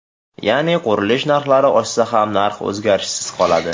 Ya’ni qurilish narxlari oshsa ham, narx o‘zgarishsiz qoladi.